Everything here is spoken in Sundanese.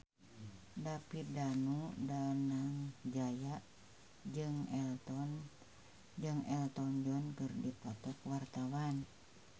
David Danu Danangjaya jeung Elton John keur dipoto ku wartawan